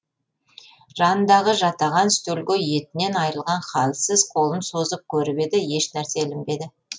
жанындағы жатаған стөлге етінен айрылған халсіз қолын созып көріп еді еш нәрсе ілінбеді